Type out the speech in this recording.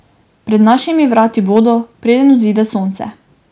Pred našimi vrati bodo, preden vzide sonce.